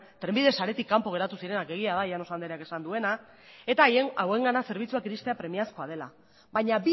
trenbide saretik kanpo geratu ziren egia da llanos andreak esan duena eta hauengana zerbitzuak iristea premiazkoa dela baina